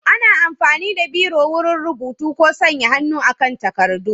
Ana amfani da Biro wurin rubutu ko sanya hannu kan takardu.